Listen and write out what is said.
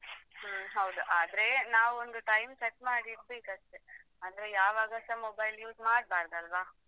ಹೌದು ಹೌದು ಹ್ಮ್ಮ್ ಹೌದು ಆದ್ರೆ ನಾವ್ ಒಂದು time set ಮಾಡಿದ್ಬೇಕು ಅಷ್ಟೇ ಅಂದ್ರೆ ಯಾವಾಗಾಸ YouTube use ಮಾಡ್ಬಾರ್ದಾಲ್ವಾ.